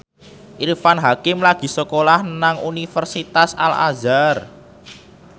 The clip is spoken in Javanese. Irfan Hakim lagi sekolah nang Universitas Al Azhar